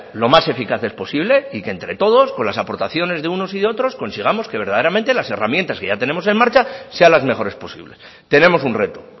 lo más eficaces posibles y que entre todos con aportaciones de unos y de otros consigamos que verdaderamente las herramientas que ya tenemos en marcha sean las mejores posibles tenemos un reto